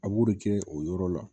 A b'o de kɛ o yɔrɔ la